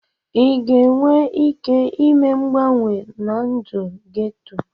Ị ga-enwe ike ime mgbanwe na ndụ geto?